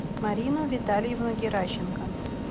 марину витальевну геращенко